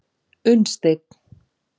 Unnsteinn